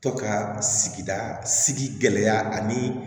Tɔ ka sigida sigi gɛlɛya ani